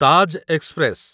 Taj express